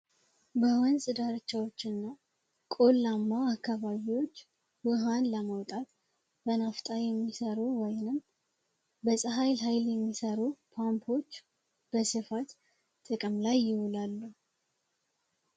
በወንፅ ደርቻዎች እና ቆላማው አካባቢዎች ውሃን ለመውጣት በናፍጣ የሚሰሩ ወይንም በፀሀይል ኃይል የሚሰሩ ፓምፖች በስፋት ጥቅም ላይ ይውላሉ